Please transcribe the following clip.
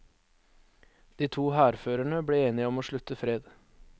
De to hærførerne ble enige om å slutte fred.